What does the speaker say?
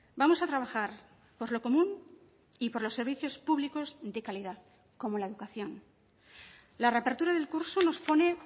vamos a trabajar por lo común y por los servicios públicos de calidad como la educación la reapertura del curso nos pone